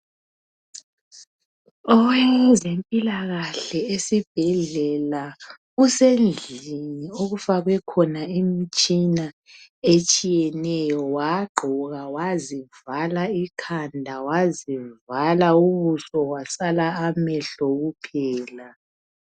Owezempilakahle esibhedlela usendlini okufakwe khona imitshina etshiyeneyo . Wagqoka wazivala ikhanda wazivala ubuso kwasala amehlo kuphela.